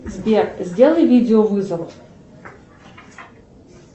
сбер сделай видео вызов